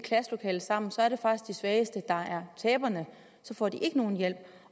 klasselokale sammen er det faktisk de svageste der er taberne og så får de ikke nogen hjælp